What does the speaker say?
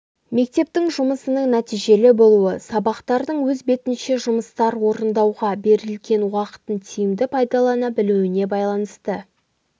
мектептің жұмысының нәтижелі болуы сабақтардың өз бетінше жұмыстар орындауға берілген уақытын тиімді пайдалана білуіне байланысты